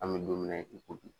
An bɛ domina i ko bi.